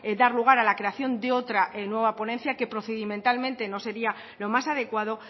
dar lugar a la creación de otra nueva ponencia que procedimentalmente no sería lo más adecuado